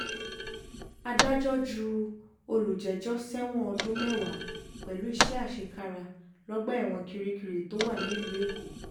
adájọ́ ju olùjẹ́jọ́ sẹ́wọ̀n ọdún mẹ́wàá pẹ̀lú iṣẹ́ àṣekára lọ́gbà ẹ̀wọ̀n kirikiri tó wà nílùú èkó